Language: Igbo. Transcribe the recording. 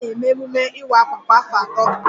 A na-eme emume Iwa àkwà kwa afọ atọ